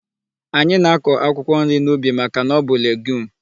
Anyị na-akọ akwụkwọ nri n'ubi màkà na ọ bụ legiume.